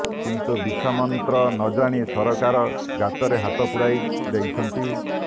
କିନ୍ତୁ ବିଛା ମନ୍ତ୍ର ନ ଜାଣି ସରକାର ଗାତରେ ହାତ ପୂରାଇ ଦେଇଛନ୍ତି